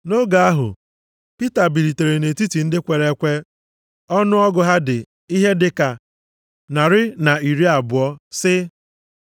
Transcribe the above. Nʼoge ahụ, Pita bilitere nʼetiti ndị kwere ekwe ọnụọgụgụ ha dị ihe dị ka narị na iri abụọ, sị,